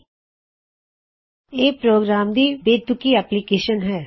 ਲੇਕਿਨ ਇਹ ਪ੍ਰੋਗਰਾਮ ਦੀ ਬੜੀ ਬੇਤੁਕੀ ਐਪਲਿਕੇਸ਼ਨ ਹੈ